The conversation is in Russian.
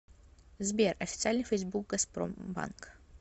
сбер официальный фейсбук газпромбанк